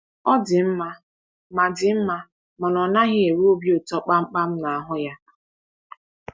Ọ dị mma ma dị mma mana ọ naghị enwe obi ụtọ kpamkpam na ahụ ya.